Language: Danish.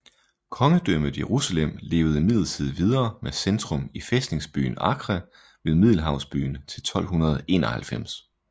Kongedømmet Jerusalem levede imidlertid videre med centrum i fæstningsbyen Acre ved Middelhavskysten til 1291